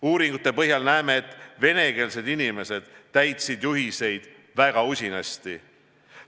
Uuringute põhjal näeme, et venekeelsed inimesed täitsid juhiseid väga usinasti.